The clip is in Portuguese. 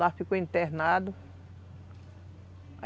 Lá ficou internado.